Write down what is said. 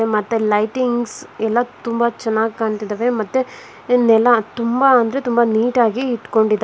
ಮತ್ತೆ ಲೈಟಿಂಗ್ಸ್ ಎಲ್ಲ ತುಂಬ ಚೆನ್ನಾಗಿ ಕಾಣ್ತಿದಾವೆ ಮತ್ತೆ ಇನ್ನೆಲ್ಲಾ ತುಂಬಾ ಅಂದ್ರೆ ತುಂಬಾ ನೀಟಾ ಆಗಿ ಇಟ್ಕೊಂಡಿದ--